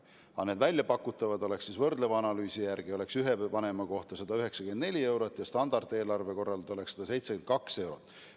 Aga need väljapakutud summad oleks võrdleva analüüsi järgi 194 eurot ühe vanema kohta ja standardeelarve korral 172 eurot.